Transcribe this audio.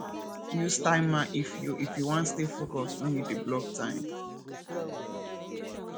use timer if you if you wan stay focused wen you dey block time